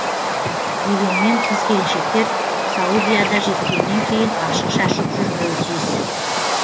дегенмен қыз келіншектер саудияда жеткеннен кейін ашық шашық жүрмеуі тиіс